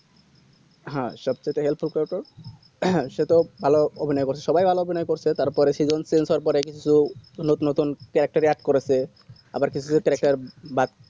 হ্যাঁ সব কটাই help এ করে তো হ্যাঁ সে তো ভালো অভিনয় করসে সবাই ভালো অভিনয় করসে তারপর season তিন চার বারে কিছু নতুন নতুন caretechadd করেছে আবার কিছু কিছু pressure বাড়ছে